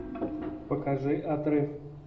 покажи отрыв